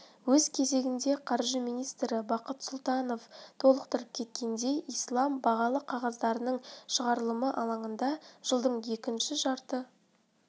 өз кезегінде қаржы министрі бақыт сұлтанов толықтырып кеткендей ислам бағалы қағаздарының шығарылымы алаңында жылдың екінші жарты